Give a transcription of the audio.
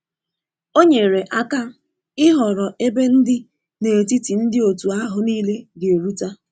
O nyere aka ịhọrọ ebe ndi n'etiti ndi otu ahụ nile ga eruta.